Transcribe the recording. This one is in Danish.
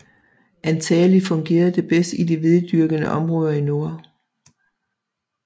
Antagelig fungerede det bedst i de hvededyrkende områder i nord